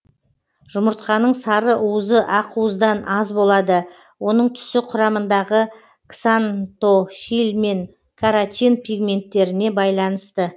жұмыртқаның сарыуызы ақуыздан аз болады оның түсі құрамындағы ксантофиль мен каротин пигменттеріне байланысты